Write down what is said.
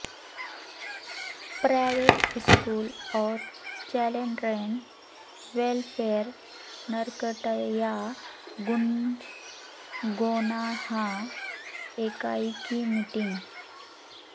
private school اور children welfare Narkatiaganj Gaunaha اکائی کی میٹنگ